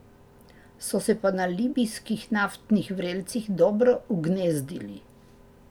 So se pa na libijskih naftnih vrelcih dobro ugnezdili.